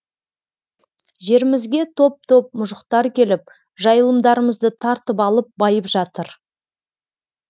жерімізге топ топ мұжықтар келіп жайылымдарымызды тартып алып байып жатыр